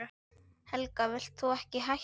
Helga: Vilt þú ekki hætta?